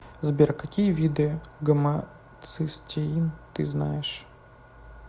сбер какие виды гомоцистеин ты знаешь